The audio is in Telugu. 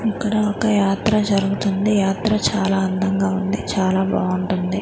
ఇక్కడ ఒక యాత్ర జరుగుతుంది యాత్ర చాలా అందంగా ఉంది చాలా బాగుంటుంది.